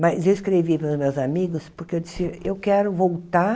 Mas eu escrevi para os meus amigos, porque eu disse, eu quero voltar